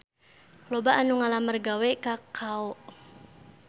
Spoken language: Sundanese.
Loba anu ngalamar gawe ka Kao